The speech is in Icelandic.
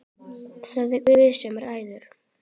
Það er Guð sem ræður.